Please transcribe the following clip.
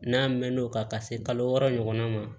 N'a mɛnn'o kan ka se kalo wɔɔrɔ ɲɔgɔnna ma